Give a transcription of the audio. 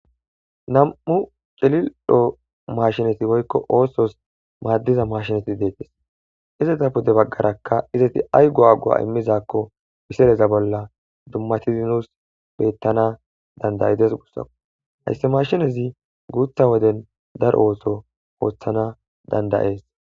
nam7u celildho mashinati woykko oosos maaddiza mashinati deetes izeta pude baggarakka izeti ay go agua immizakko piseleza bolla dummatizinos beettana dandayides gussako hayssi mashinezi guutha woden daro ooso ooththana dandayees